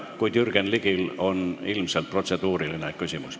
Kuid Jürgen Ligil on ilmselt protseduuriline küsimus.